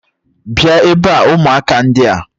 bia ebe a, umuaka ndia!